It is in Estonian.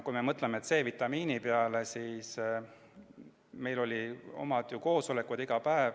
Kui me mõtleme C-vitamiini peale, siis meil olid iga päev oma koosolekud.